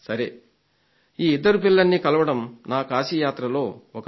ఈ ఇద్దరు పిల్లల్ని కలవడం నా కాశీ యాత్రలో ఒక విశేషం